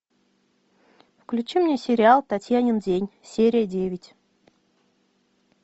включи мне сериал татьянин день серия девять